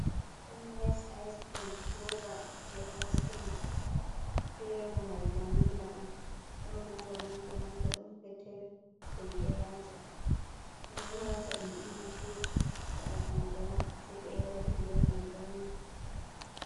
Fanis iscrim, roba je isecrim flevo mai vanila on, ɗon roba manga manga, ɗum pettel deidayaje ɓeɗo wata ɗum ha frij waɗa qanqara sai ɓe yara ɗum be qanqara mai.